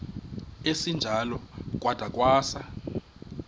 esinjalo kwada kwasa